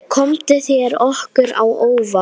Komu þær ykkur á óvart?